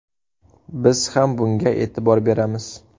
Biz ham bunga e’tibor beramiz.